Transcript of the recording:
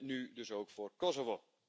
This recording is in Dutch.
Nu dus ook voor Kosovo.